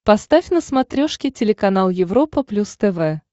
поставь на смотрешке телеканал европа плюс тв